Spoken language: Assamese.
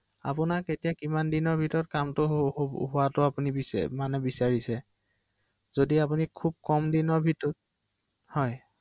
হয়, এই মোৰ